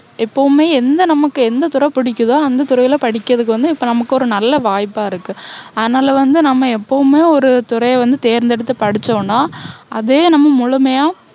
எப்போவுமே எந்த நமக்கு எந்த துறை பிடிக்குதோ அந்த துறையில படிக்குறதுக்கு இப்போ நமக்கு ஒரு நல்ல வாய்ப்பா இருக்கு. அதனால வந்து நம்ம எப்போவுமே ஒரு துறைய வந்து தேர்ந்தேடுத்து படிச்சோன்னா, அதே நம்ம முழுமையா